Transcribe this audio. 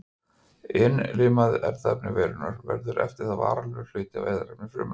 Innlimað erfðaefni veirunnar verður eftir það varanlegur hluti af erfðaefni frumunnar.